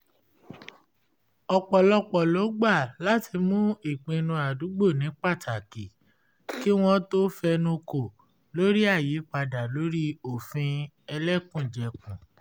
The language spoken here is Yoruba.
ọpọlọpọ lo gbà láti mú ìpinnu àdúgbò ní pátákì kí wọ́n tó fẹnu kò lórí àyípadà lórí òfin ẹlẹ́kùnjẹkùn